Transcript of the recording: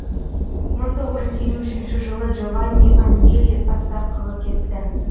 мың тоғыз жүз елу үшінші жылы джованни аньелли отставкаға кетті